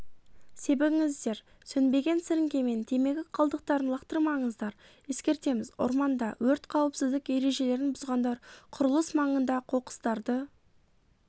себіңіздер сөнбеген сіріңкемен темекі қалдықтарын лақтырмаңыздар ескертеміз орманда өрт қауіпсіздік ережелерін бұзғандар құрылыс маңында қоқыстарды